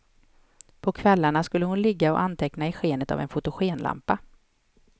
På kvällarna skulle hon ligga och anteckna i skenet av en fotogenlampa.